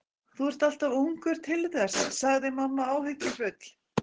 Þú ert allt of ungur til þess sagði mamma áhyggjufull.